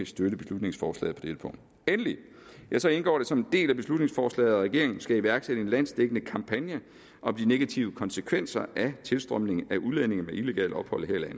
støtte beslutningsforslaget på dette punkt endelig indgår det som en del af beslutningsforslaget at regeringen skal iværksætte en landsdækkende kampagne om de negative konsekvenser af tilstrømningen af udlændinge med illegalt ophold her i